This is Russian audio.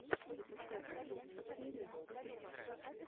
запускай последнюю серию супер полины